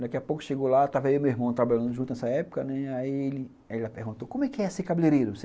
Daqui a pouco chegou lá, estava eu e meu irmão trabalhando junto nessa época, né, aí ela perguntou, como é ser cabeleireiro?